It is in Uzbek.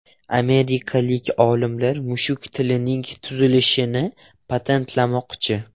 Amerikalik olimlar mushuk tilining tuzilishini patentlamoqchi.